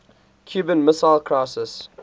cuban missile crisis